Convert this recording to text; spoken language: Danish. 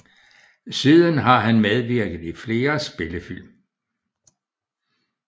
Siden har han medvirket i flere spillefilm